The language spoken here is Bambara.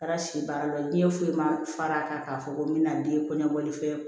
Ala si baara dɔ ye diɲɛ foyi ma fara kan k'a fɔ ko n bɛna n den kɔɲɔkɔli fɛn